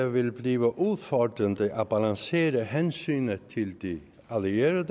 vil blive udfordrende at balancere hensynet til de allierede